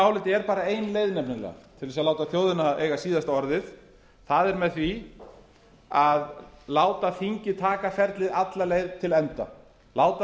áliti er ein leið til að láta þjóðina eiga síðasta orðið það er með því að láta þingið taka ferlið alla leið til enda láta